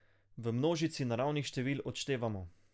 V množici naravnih števil odštevamo.